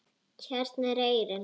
Hérna er eyrin.